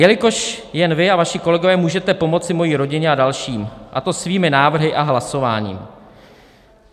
"Jelikož jen vy a vaši kolegové můžete pomoci mojí rodině a dalším, a to svými návrhy a hlasováním."